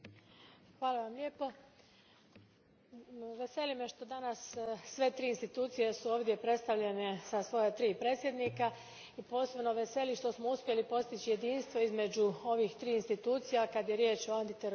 Gospodine predsjedniče, veseli me što su danas sve tri institucije ovdje predstavljene sa svoja tri predsjednika i posebno veseli što smo uspjeli postići jedinstvo između ovih tri institucija kad je riječ o antiterorističkim mjerama.